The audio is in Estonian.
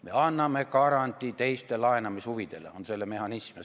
Me anname garantii teiste laenamishuvidele – see on selle mehhanism.